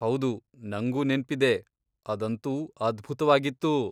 ಹೌದು, ನಂಗೂ ನೆನ್ಪಿದೆ! ಅದಂತೂ ಅದ್ಭುತ್ವಾಗಿತ್ತು.